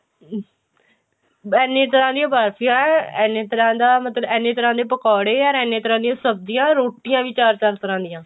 ਇੰਨੀਆਂ ਤਰ੍ਹਾਂ ਦੀਆਂ ਬਰਫੀਆਂ ਏਨੇ ਤਰ੍ਹਾਂ ਦਾ ਮਤਲਬ ਏਨੇ ਤਰ੍ਹਾਂ ਦੇ ਪਕੋੜੇ or ਇੰਨੇ ਤਰ੍ਹਾਂ ਦੀਆਂ ਸਬਜ਼ੀਆਂ ਰੋਟੀਆਂ ਵੀ ਚਾਰ ਚਾਰ ਤਰ੍ਹਾਂ ਦੀਆਂ